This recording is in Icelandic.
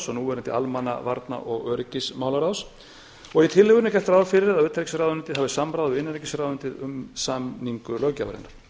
núverandi almanna varna og öryggismálaráðs og í tillögunni er gert ráð fyrir að utanríkisráðuneytið hafi samráð við innanríkisráðuneytið um samningu löggjafarinnar